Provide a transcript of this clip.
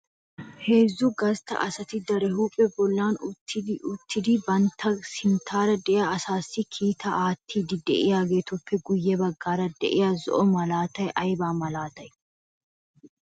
heezzu gastta asati darphpha bollan utti uttidi banttappe sinttaara de'iya asassi kiitaa aatidi de'iyaageetuppe guyye baggaara de'iyaa zo'o malaatay ayba malaatay?